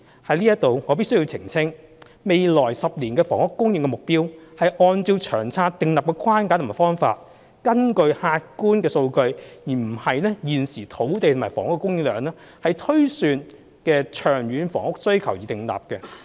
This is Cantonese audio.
就此，我必須澄清，未來10年的房屋供應目標是按照《長策》訂立的框架和方法，根據客觀數據——而不是現時的土地及房屋供應量——推算的長遠房屋需求而訂立。